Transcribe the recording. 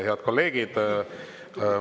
Head kolleegid.